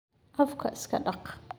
Afka iska dhaq.